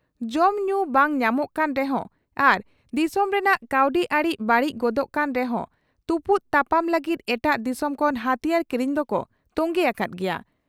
ᱡᱚᱢ ᱧᱩ ᱵᱟᱝ ᱧᱟᱢᱚᱜ ᱠᱟᱱ ᱨᱮᱦᱚᱸ ᱟᱨ ᱫᱤᱥᱚᱢ ᱨᱮᱱᱟᱜ ᱠᱟᱹᱣᱰᱤᱟᱹᱨᱤ ᱵᱟᱹᱲᱤᱡ ᱜᱚᱫᱚᱜ ᱠᱟᱱ ᱨᱮᱦᱚᱸ ᱛᱩᱯᱩᱫ ᱛᱟᱯᱟᱢ ᱞᱟᱹᱜᱤᱫ ᱮᱴᱟᱜ ᱫᱤᱥᱚᱢ ᱠᱷᱚᱱ ᱦᱟᱹᱛᱤᱭᱟᱹᱨ ᱠᱤᱨᱤᱧ ᱫᱚᱠᱚ ᱛᱚᱝᱜᱮ ᱟᱠᱟᱫ ᱜᱮᱭᱟ ᱾